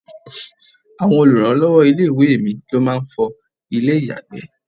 Àwọn oluranlowo ilé-ìwé mi ló máa ń fọ ilé-iyagbe.